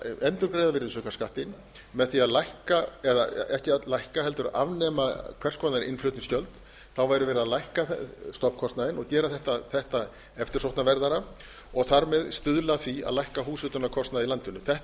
endurgreiða virðisaukaskattinn með því að afnema hvers konar innflutningsgjöld væri verið að lækka stofnkostnaðinn og gera þetta eftirsóknarverðara og þar með stuðla að því að lækka húshitunarkostnað í landinu þetta